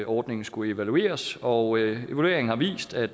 ordningen skulle evalueres og evalueringen har vist at